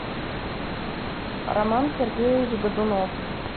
роман сергеевич годунов